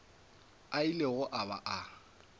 a ilego a ba a